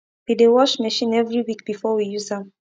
we dey wash machine every week before we use am